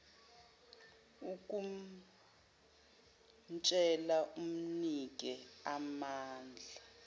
ukumtshela umnike amanamba